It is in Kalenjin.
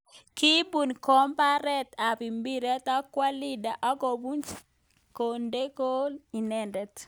Kibun komboret ap mpiret akwo Leander ak komuch konde ko inendet.